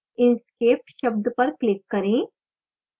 inkscape शब्द पर click करें